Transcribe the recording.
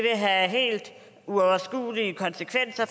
have helt uoverskuelige konsekvenser